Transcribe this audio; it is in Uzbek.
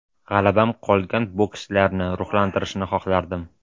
G‘alabam qolgan bokschilarni ruhlantirishini xohlardim”.